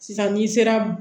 Sisan n'i sera